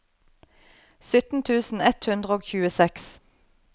sytten tusen ett hundre og tjueseks